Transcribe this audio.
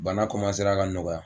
Bana ka nɔgɔya